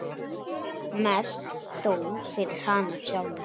Mest þó fyrir hana sjálfa.